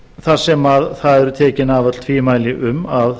þar sem það eru tekin af öll tvímæli um að